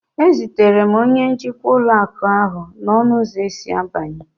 E zutere m onye njikwa ụlọ akụ ahu n'ọnụ ụzọ esi abanye